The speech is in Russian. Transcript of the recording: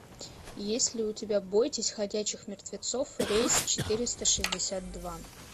есть ли у тебя бойтесь ходячих мертвецов рейс четыреста шестьдесят два